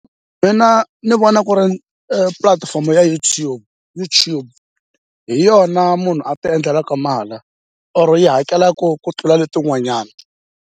Mina ni vona ku ri pulatifomo ya YouTube hi yona munhu a ti endlelaka or yi hakelaku ku tlula letin'wanyana.